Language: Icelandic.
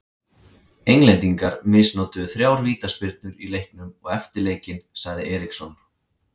Englendingar misnotuðu þrjár vítaspyrnur í leiknum og eftir leikinn sagði Eriksson.